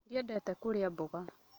Ndiendete kũrĩa mboga